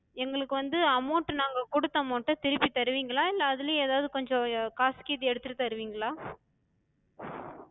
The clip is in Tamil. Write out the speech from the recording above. குடுத்த amount டத் திருப்பித் தருவிங்களா? இல்ல அதுலயு எதாது கொஞ்ச காசு கீசு எடுத்துட்டுத் தருவிங்களா?